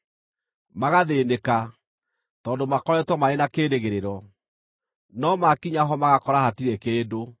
Magathĩĩnĩka, tondũ makoretwo marĩ na kĩĩrĩgĩrĩro; no maakinya ho magakora hatirĩ kĩndũ.